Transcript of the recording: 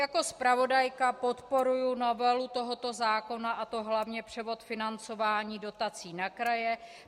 Jako zpravodajka podporuji novelu tohoto zákona, a to hlavně převod financování dotací na kraje.